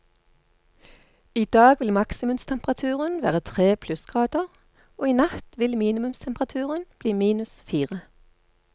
I dag vil maksimumstemperaturen være tre plussgrader, og i natt vil minimumstemperaturen bli minus fire.